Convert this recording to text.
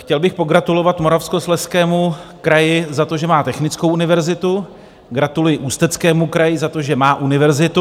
Chtěl bych pogratulovat Moravskoslezskému kraji za to, že má technickou univerzitu, gratuluji Ústeckému kraji za to, že má univerzitu.